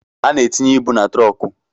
A na-etinye ịbụ na trunku